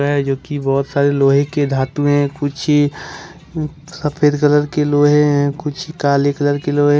है जो की बहोत सारी लोहे के धातु है कुछ सफेद कलर के लोहे हैं कुछ काली कलर के लोहे हैं।